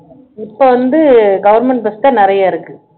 இப்போ வந்து government bus தான் நிறைய இருக்கு